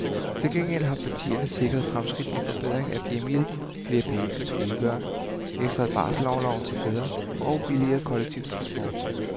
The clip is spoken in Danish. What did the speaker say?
Til gengæld har partierne sikret fremskridt med forbedring af hjemmehjælpen, flere penge til truede børn, ekstra barselsorlov til fædre og billigere kollektiv transport.